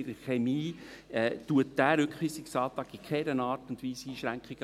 in der Chemie, macht dieser Rückweisungsantrag in keiner Art und Weise Einschränkungen.